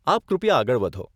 આપ કૃપયા આગળ વધો.